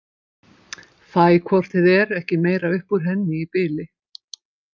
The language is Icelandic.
Fæ hvort eð er ekki meira upp úr henni í bili.